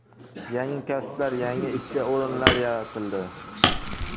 Yangi kasblar, yangi ishchi o‘rinlar yaratildi.